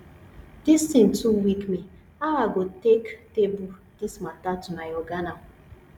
dis thing too weak me how i go take table dis matter to my oga now